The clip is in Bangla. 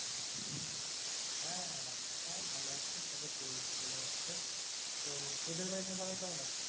হ্যাঁ সবাই ভালো আছে সবাই চলে যাচ্ছে তো তোদের বাড়িতে সবাই কেমন আছে?